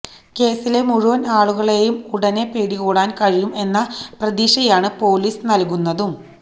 കേസിലെ മുഴുവന് ആളുകളെയും ഉടന് പിടികൂടാന് കഴിയും എന്ന പ്രതീക്ഷയാണ് പോലീസ് നല്കുന്നതും